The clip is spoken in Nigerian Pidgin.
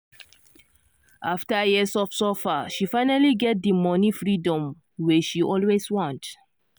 after years of suffer she finally get di money freedom wey she always want.